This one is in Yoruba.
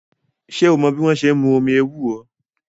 Ṣé o mọ́ bí wọ́n ṣe n mú omi ewúro?